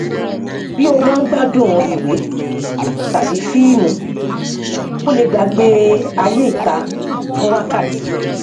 bí o bá ń gbádùn ìwé tàbí fíìmù o lè gbàgbé ayé ìta fún wákàtí